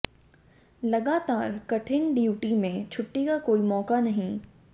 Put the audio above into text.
लगातार कठिन डियूटी में छुट्टी का कोई मौका नहीं